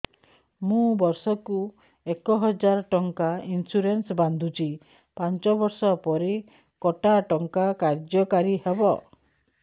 ମୁ ବର୍ଷ କୁ ଏକ ହଜାରେ ଟଙ୍କା ଇନ୍ସୁରେନ୍ସ ବାନ୍ଧୁଛି ପାଞ୍ଚ ବର୍ଷ ପରେ କଟା ଟଙ୍କା କାର୍ଯ୍ୟ କାରି ହେବ